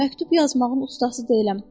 Məktub yazmağın ustası deyiləm.